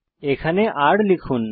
এখানে r লিখুন